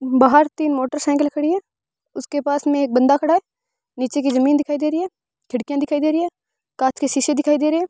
बाहर तीन मोटरसाइकिलें खड़ी है उसके पास में एक बंदा खड़ा है नीचे की जमीन दिखाई दे रही है खिड़कियां दिखाई दे रही है कांच के शीशे दिखाई दे रहे है।